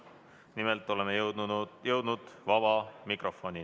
Nimelt oleme jõudnud vaba mikrofonini.